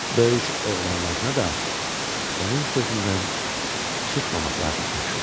Böyük oğlanlarına da onun sözündən çıxmamaqlarını tapşırdı.